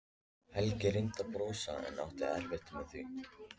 Helgi reyndi að brosa en átti erfitt með það.